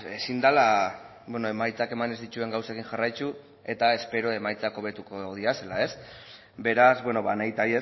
ezin dela emaitzak eman ez dituen gauzekin jarraitu eta espero emaitzak hobetuko direla beraz ba nahita